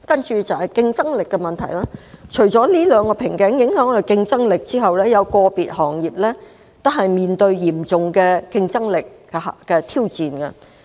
在競爭力問題方面，除了這兩個瓶頸影響香港的競爭力外，有個別行業亦面對嚴峻的挑戰。